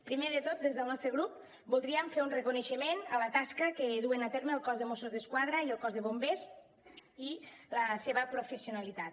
primer de tot des del nostre grup voldríem fer un reconeixement a la tasca que duen a terme el cos de mossos d’esquadra i el cos de bombers i la seva professionalitat